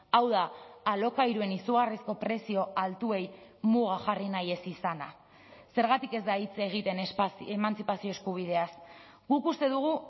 hau da alokairuen izugarrizko prezio altuei muga jarri nahi ez izana zergatik ez da hitz egiten emantzipazio eskubideaz guk uste dugu